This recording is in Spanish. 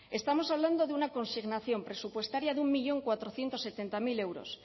estamos hablando de una consignación presupuestaria de un millón cuatrocientos setenta mil euros